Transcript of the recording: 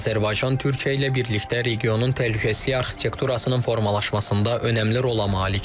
Azərbaycan Türkiyə ilə birlikdə regionun təhlükəsizlik arxitekturasının formalaşmasında önəmli rola malikdir.